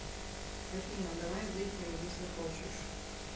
афина давай выпьем если хочешь